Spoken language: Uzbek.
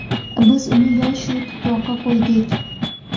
Biz uni – yoshu – Tuproqqa qo‘ydik.